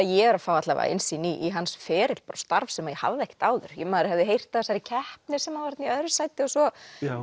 ég er að fá innsýn í hans feril starf sem ég hafði ekkert áður maður hafði heyrt af þessari keppni þar sem hann var þarna í öðru sæti og svo